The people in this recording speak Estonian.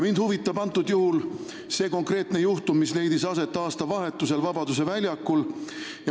Mind huvitab see konkreetne juhtum, mis leidis aset aastavahetusel Vabaduse väljakul.